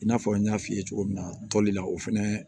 I n'a fɔ n y'a f'i ye cogo min na tɔli la o fɛnɛ